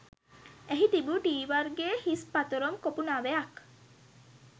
එහි තිබූ ටී වර්ගයේ හිස් පතොරම් කොපු නවයක්